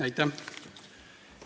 Aitäh!